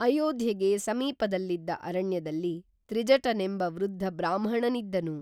ಅಯೋಧ್ಯೆಗೆ ಸಮೀಪದಲ್ಲಿದ್ದ ಅರಣ್ಯದಲ್ಲಿ ತ್ರಿಜಟನೆಂಬ ವೃದ್ಧ ಬ್ರಾಹ್ಮಣನಿದ್ದನು